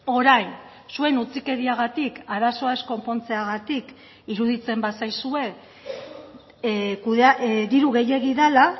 orain zuen utzikeriagatik arazoa ez konpontzeagatik iruditzen bazaizue diru gehiegi dela